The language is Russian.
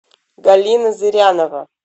галина зырянова